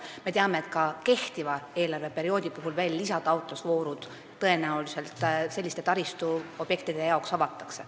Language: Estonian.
Ja me teame, et ka praeguse eelarveperioodi jooksul avatakse selliste taristuobjektide toetamiseks tõenäoliselt lisataotlusvoorud.